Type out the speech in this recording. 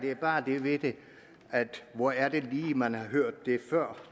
er bare det ved det hvor er det lige man har hørt det før